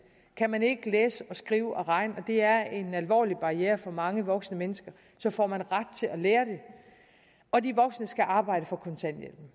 kan man ikke læse og skrive og regne og det er en alvorlig barriere for mange voksne mennesker får man ret til at lære det og de voksne skal arbejde for kontanthjælpen